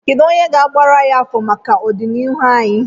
Kedụ onye ga-agbara anyị afa maka ọdịnihu anyị?